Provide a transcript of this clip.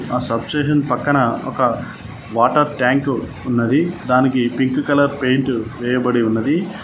ఆ సబ్స్టేషన్ పక్కన ఒక వాటర్ ట్యాంక్ ఉన్నది దానికి పింక్ కలర్ పెయింట్ వేయబడి ఉన్నది.